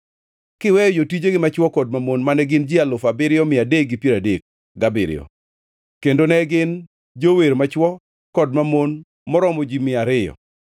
kiweyo jotijegi machwo kod mamon mane gin ji alufu abiriyo mia adek gi piero adek gabiriyo (7,337); kendo ne gin gi jower machwo kod mamon maromo ji mia ariyo (200).